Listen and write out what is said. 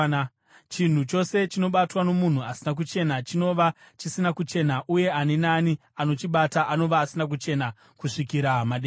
Chinhu chose chinobatwa nomunhu asina kuchena chinova chisina kuchena, uye ani naani anochibata anova asina kuchena kusvikira madekwana.”